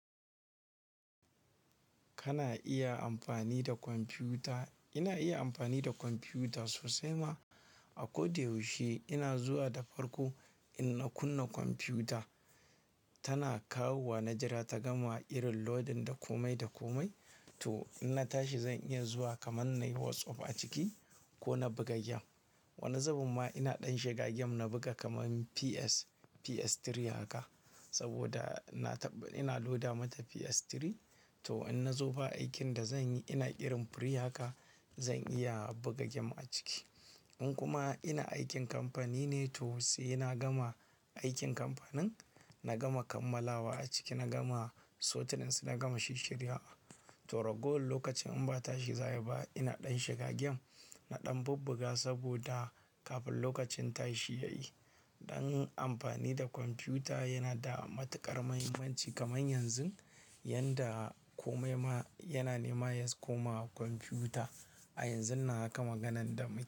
Kana iya amfani da kwamfiyuta. Ina iya amfani da kwamfiyuta sosai ma. A ko da yaushe ina zuwa da farko in na kunna kwamfiyuta tana kawowa na jira ta gama irin loading da komai da komai. To in na tashi zan iya zuwa kaman nayi WhatsApp a ciki ko na buga gem. Wani zabun ma ina ɗan shiga game na buga kaman PS, PS3 haka saboda na taɓa ina loda mata PS3. To in na zo ba aikin da zan yi ina irin free haka zan iya buga game a ciki. In kuma ina aikin kamfani ne to sai na gama aikin kamfanin, na gama kammalawa a ciki, na gama sorting su, na gama shishshirya. To ragowan lokacin in ba tashi za ayi ba ina ɗan shiga game, na ɗan bubbuga saboda kafin lokacin tashi yayi. Dan amfani da kwamfiyuta yana da matuƙar mahimmanci kaman yanzu yanda kome ma yana nema yas koma kwamfiyuta. A yanzun nan haka maganan da mu.